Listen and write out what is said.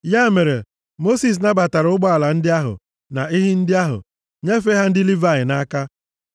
Ya mere, Mosis nabatara ụgbọala ndị ahụ na ehi ndị ahụ, nyefee ha ndị Livayị nʼaka.